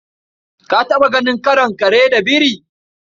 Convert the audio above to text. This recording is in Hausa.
Ka taɓa ganin karon kare da biri?